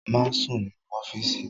Má sùn nínú ọ́fíìsì!